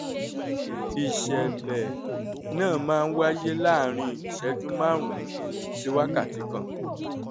ìṣẹ̀lẹ̀ náà máa ń wáyé láàárín ìṣẹ́jú márùn-ún sí wákàtí kan